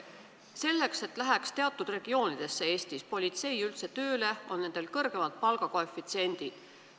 Selleks, et keegi läheks teatud regioonis üldse politseisse tööle, on seal kõrgemad palgakoefitsiendid.